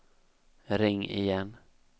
ring igen